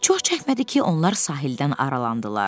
Çox çəkmədi ki, onlar sahildən aralandılar.